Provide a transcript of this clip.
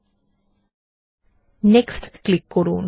ল্টপাউসেগ্ট next click করুন